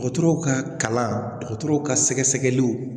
Dɔgɔtɔrɔw ka kalan dɔgɔtɔrɔw ka sɛgɛsɛgɛliw